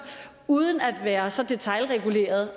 uden at være så detailreguleret